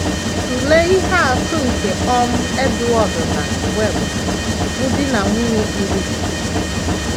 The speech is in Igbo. Tụlee ihe atụ nke um Edward na Gwen, bụ́ di na nwunye kpuru ìsì.